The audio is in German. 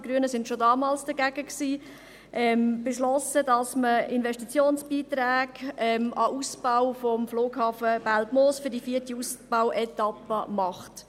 die Grünen waren schon damals dagegen – beschlossen, dass man Investitionsbeiträge an den Ausbau des Flughafens Belpmoos für die vierte Ausbauetappe macht.